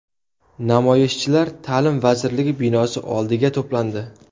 Namoyishchilar Ta’lim vazirligi binosi oldiga to‘plandi.